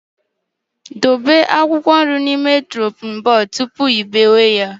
Dobe akwụkwọ nri n'elu shoping bodu tụpụ ị biwe ya